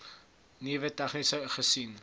nuwe tegnieke gesien